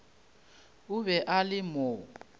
o be a le mo